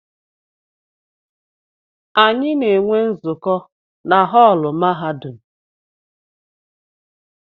Anyị na-enwe nzukọ na họọlụ mahadum.